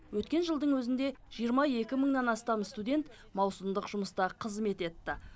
өткен жылдың өзінде жиырма екі мыңнан астам студент маусымдық жұмыста қызмет етті